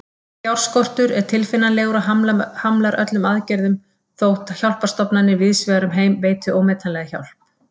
Fjárskortur er tilfinnanlegur og hamlar öllum aðgerðum, þótt hjálparstofnanir víðsvegar um heim veiti ómetanlega hjálp.